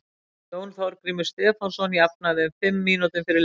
Jón Þorgrímur Stefánsson jafnaði um fimm mínútum fyrir leikhlé.